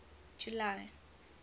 july